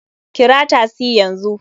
Kira tasi yanzu!